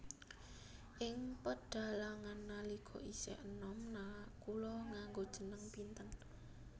Ing pedhalangan nalika isih enom Nakula nganggo jeneng Pinten